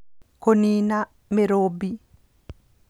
Kũniina Mĩrumbĩ